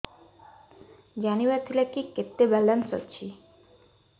ଜାଣିବାର ଥିଲା କି କେତେ ବାଲାନ୍ସ ଅଛି